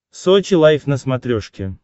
сочи лайф на смотрешке